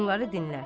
Onları dinlər.